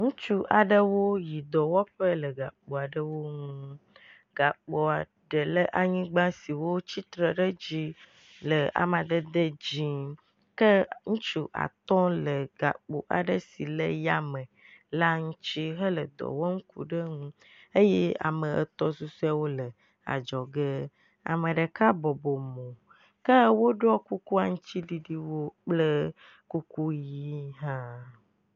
ŋutsu aɖewo yi dɔwɔƒe le gakpo aɖewo ŋu gakpoa ɖe la nyigbã si wó tsitre ɖe dzi le amadede dzĩ ke ŋutsu atɔ le gakpo aɖe si le yame la ŋutsi hele dɔwɔm kuɖeŋu eye ame etɔ̃ susoeawo le adzɔge ameɖeka bɔbo mo ke wóɖɔ aŋtsiɖiɖi kuku kple kuku yiwo hã